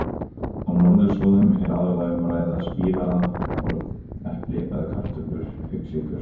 Á norðurslóðum er aðallega um að ræða spírað korn, epli eða kartöflur auk sykurs.